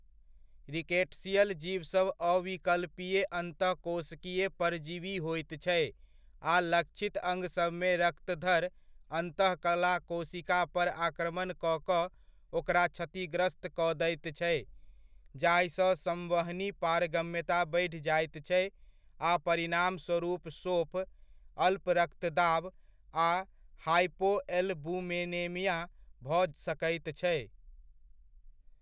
Rickettsial जीवसभ अविकल्पीय अंतःकोशिकीय परजीवी होइत छै आ लक्षित अङ्गसभमे रक्तधर अन्तःकला कोशिका पर आक्रमण कऽ कऽ ओकरा क्षतिग्रस्त कऽ दैत छै जाहिसँ संवहनी पारगम्यता बढ़ि जाइत छै आ परिणामस्वरूप शोफ, अल्परक्तदाब, आ हाइपोएलबुमिनेमिया भऽ सकैत छै।